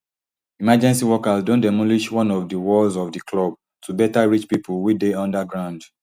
emergency workers don demolish one of di walls of di club to beta reach pipo wey dey under ground